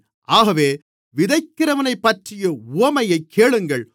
ஆகவே விதைக்கிறவனைப்பற்றிய உவமையைக் கேளுங்கள்